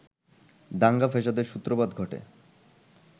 দাঙ্গা-ফ্যাসাদের সূত্রপাত ঘটে